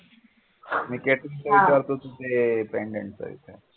मी catering चा विचारतो ते तू pendant विचार